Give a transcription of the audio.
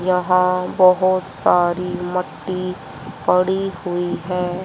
यहां बहोत सारी मट्टी पड़ी हुई है।